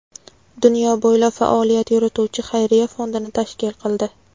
dunyo bo‘ylab faoliyat yurituvchi xayriya fondini tashkil qildi.